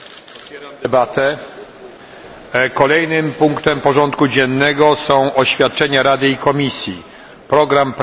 Kolejnym punktem porządku dziennego są oświadczenia Rady i Komisji dotyczące programu prac węgierskiej prezydencji w Radzie.